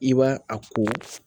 I b'a a ko